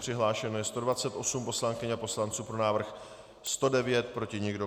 Přihlášeno je 128 poslankyň a poslanců, pro návrh 109, proti nikdo.